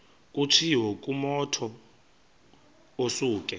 kutshiwo kumotu osuke